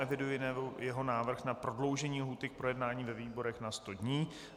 Eviduji jeho návrh na prodloužení lhůty k projednání ve výborech na sto dní.